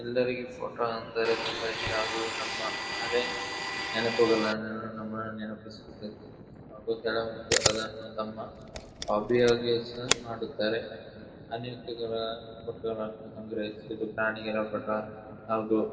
ಎಲ್ಲರಿಗು ಫೋಟೊ ಎಂದರೆ ತುಂಬ ಇಷ್ಟ ಅದು ನಮ್ಮ ಹಳೆ ನೆನಪುಗಳನ್ನು ನೆನಪಿಸುತ್ತದೆ ಅದು ಕೆಲವೊಂದು ಅದನ್ನು ತಮ್ಮ ಹಾಬಿಯಾಗಿ ಸಹ ಮಾಡುತ್ತಾರೆ. ಅನೇಕರು ಫೋಟೋಗಳನ್ನು ಪ್ರಾಣಿಗಳ ಫೋಟೋ ಹಾಗೂ--